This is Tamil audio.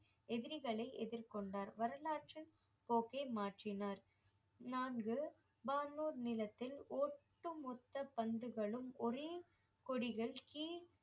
எதிரிகளை எதிர்கொண்டார் வரலாற்றில் கோகே மாற்றினார் நான்கு வான் ஊர் நிலத்தில் ஒட்டுமொத்த பந்துகளும் ஒரே கொடிகள் கீழே